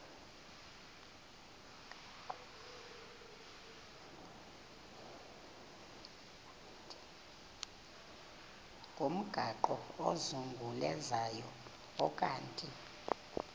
ngomgaqo ozungulezayo ukanti